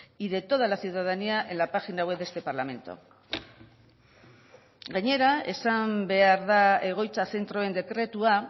y de toda la ciudadanía en la página web de este parlamento gainera esan behar da egoitza zentroen dekretua